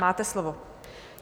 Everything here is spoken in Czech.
Máte slovo.